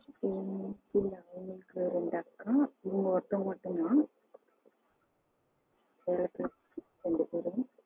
இல்ல எனக்கு ரெண்டு அக்கா இவங்க ஒருத்தங்க மட்டும் தான். ரெண்டு பேரு